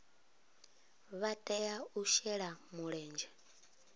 vha tea u shela mulenzhe